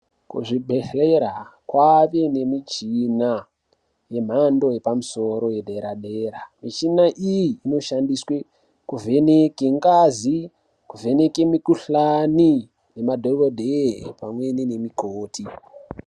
Kuzvibhedhlera kwave nemichina yemhando yepamusoro yepadera-dera. Muchina iyi inoshandiswe kuvheneke ngazi, kuvheneke mukhuhlani nemadhokodheya pamwe nemukoti.